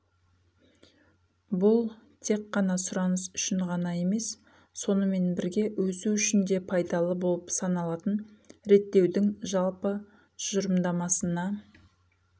бұл тек қана сұраныс үшін ғана емес сонымен бірге өсу үшін де пайдалы болып саналатын реттеудің жалпы тұжырымдамасына